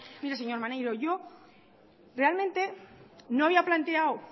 mire señor maneiro yo realmente no había planteado